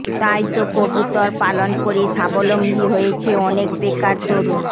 তাই তো কবুতর পালন করে সাবলম্বী হয়েছে অনেক বেকার তরুণ